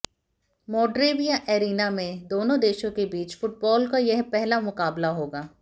मोडरेविया arena में देनों देशों के बीच फुटबॉल का यह पहला मुकाबला होगा